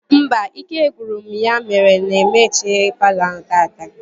Mba, ike gwụrụ m ya mere na m ehichaghi palọ ahụ taata